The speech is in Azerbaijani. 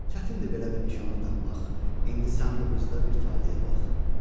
Çətindir belə bir nişanlı tapmaq, indi sən bu qızda bir taleyə bax.